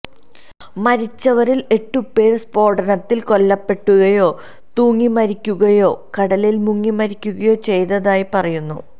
മരിച്ചവരില് എട്ടുപേര് സ്ഫോടനത്തില് കൊല്ലപ്പെടുകയോ തൂങ്ങിമരിക്കുകയോ കടലില് മുങ്ങിമരിക്കുകയോ ചെയ്തതായി പറയുന്നു